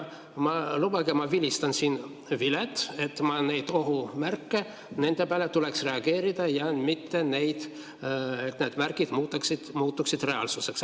Lubage ma vilistan siin vilet, sest ma neid ohumärke, nende peale tuleks reageerida, et need märgid ei muutuks reaalsuseks.